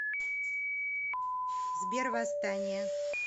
сбер восстания